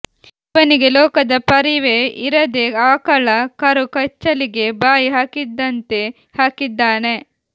ಇವನಿಗೆ ಲೋಕದ ಪರಿವೇ ಇರದೆ ಆಕಳ ಕರು ಕೆಚ್ಚಲಿಗೆ ಬಾಯಿ ಹಾಕಿದಂತೆ ಹಾಕಿದ್ದಾನೆ